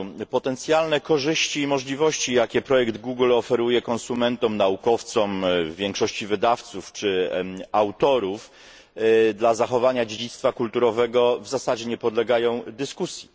Potencjalne korzyści i możliwości, jakie projekt Google oferuje konsumentom, naukowcom, większości wydawców czy autorów dla zachowania dziedzictwa kulturowego w zasadzie nie podlegają dyskusji.